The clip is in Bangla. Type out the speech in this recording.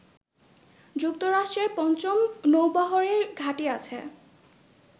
যুক্তরাষ্ট্রের পঞ্চম নৌবহরের ঘাঁটি আছে